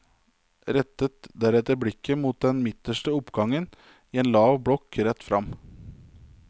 Rettet deretter blikket mot den midterste oppgangen i en lav blokk rett fram.